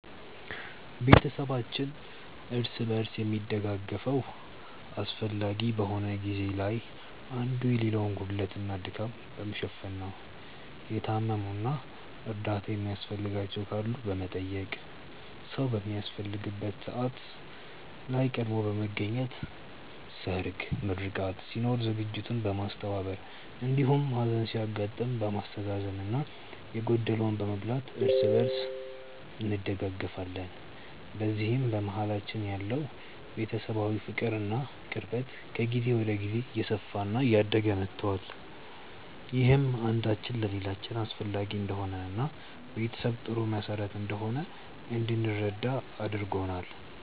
ቤተሰባችን እርስ በርስ የሚደጋገፈው አስፈላጊ በሆነ ጊዜ ላይ አንዱ የሌላውን ጉድለት እና ድካም በመሸፈን ነው። የታመሙ እና እርዳታ የሚያስፈልጋቸው ካሉ በመጠየቅ፣ ሰዉ በሚያስፈልግበት ሰዓት ላይ ቀድሞ በመገኘት ሰርግ፣ ምርቃት ሲኖር ዝግጅቱን በማስተባበር እንዲሁም ሀዘን ሲያጋጥም በማስተዛዘን እና የጎደለውን በመሙላት እርስ በእርስ እንደጋገፋለን። በዚህም በመሀላችን ያለው ቤተሰባዊ ፍቅር እና ቅርበት ከጊዜ ወደ ጊዜ እየሰፋ እና እያደገ መቷል። ይህም አንዳችን ለሌላችን አስፈላጊ እንደሆንን እና ቤተሰብ ጥሩ መሰረት እንደሆነ እንድንረዳ አድርጎናል።